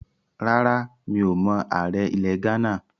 Rárá, mi ò mọ ààrẹ ilẹ̀ Ghánà